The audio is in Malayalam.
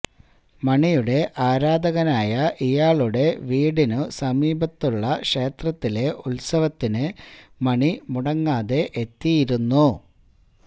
മണിയുടെ ആരാധകനായ ഇയാളുടെ വീടിനു സമീപത്തുള്ള ക്ഷേത്രത്തിലെ ഉത്സവത്തിന് മണി മുടങ്ങാതെ എത്തിയിരുന്നു